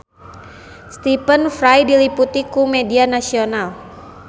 Stephen Fry diliput ku media nasional